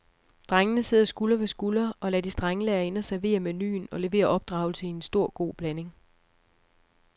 Drengene sidder skulder ved skulder og lader de strenge lærerinder servere menuen og levere opdragelse i en stor god blanding.